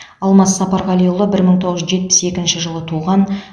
алмас сапарғалиұлы бір мың тоғыз жүз жетпіс екінші жылы туған